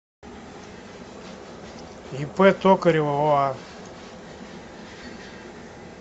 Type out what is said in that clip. ип токарева оа